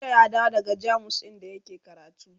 jiya ya dawo daga jamus inda yake karatu